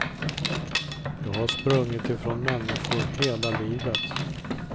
Jag har sprungit ifrån människor hela livet.